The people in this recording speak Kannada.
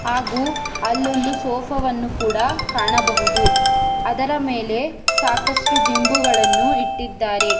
ಹಾಗೂ ಅಲ್ಲೊಂದು ಸೋಫಾ ವನ್ನು ಕೂಡ ಕಾಣಬಹುದು ಅದರ ಮೇಲೆ ಸಾಕಷ್ಟು ದಿಂಬುಗಳನ್ನು ಇಟ್ಟಿದ್ದಾರೆ.